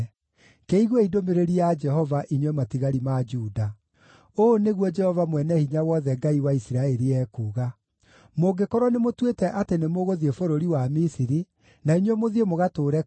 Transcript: Kĩiguei ndũmĩrĩri ya Jehova, inyuĩ matigari ma Juda. Ũũ nĩguo Jehova Mwene-Hinya-Wothe, Ngai wa Isiraeli, ekuuga: ‘Mũngĩkorwo nĩmũtuĩte atĩ nĩmũgũthiĩ bũrũri wa Misiri, na inyuĩ mũthiĩ mũgatũũre kuo-rĩ,